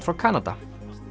frá Kanada